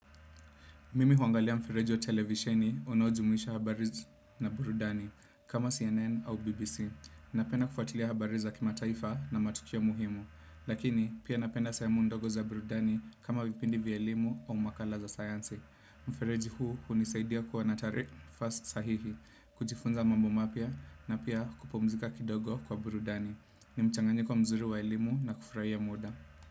Mimi huangalia mfereji wa televisheni unaojumuisha habari na burudani kama CNN au BBC. Napenda kufuatilia habari za kimataifa na matukio muhimu. Lakini, pia napenda sehemu ndogo za burudani kama vipindi vya elimu au makala za sayansi. Mfereji huu hunisaidia kuwa na tari first sahihi, kujifunza mambo mapya na pia kupumzika kidogo kwa burudani. Ni mchanganyiko mzuri wa elimu na kufurahia muda.